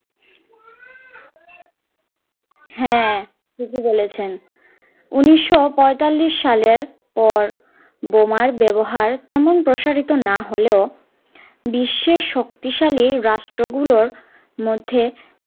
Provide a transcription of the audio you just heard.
হাঁ ঠিক ই বলেছেন উনিশশো পয়তাল্লিশ সালের পর বোমার ব্যবহার তেমন প্রসারিত না হলেও বিশ্বের শক্তিশালী রাষ্ট্র গুলোর মধ্যে